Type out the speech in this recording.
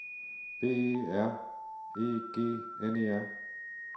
B E R E G N E R